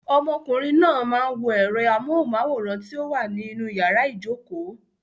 Ọmọkùnrin náà máa ń wo ẹ̀rọ amóhùnmáwòrán ti ó wà ní inú yàrá ìjokòó.